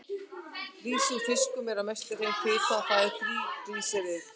Lýsi úr fiskum er að mestu hrein fita, það er þríglýseríð.